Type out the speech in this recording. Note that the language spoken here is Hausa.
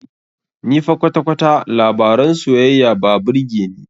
Ni fa kwata-kwata labaran soyayya ba birge ni.